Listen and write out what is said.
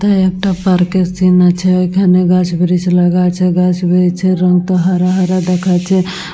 এথায় একটা পার্ক -এর সিন আছে ওইখানে গাছ ব্রিজ লাগা আছে গাছ ব্রিজ -এর রং তো হারা হারা দেখাচ্ছে।